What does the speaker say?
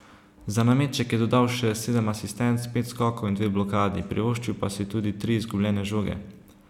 Za nameček je dodal še sedem asistenc, pet skokov in dve blokadi, privoščil pa si tudi tri izgubljene žoge.